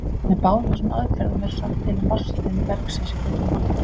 Með báðum þessum aðferðum verður sagt til um vatnsleiðni bergsins í kringum holuna.